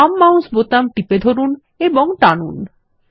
বাম মাউস বোতাম টিপে ধরুন এবং টানুন